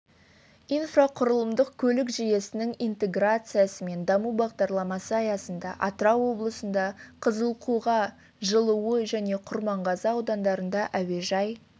инфрақұрылымдық көлік жүйесінің интеграциясы мен даму бағдарламасы аясында атырау облысында қызылқоға жылыой және құрманғазы аудандарында әуежай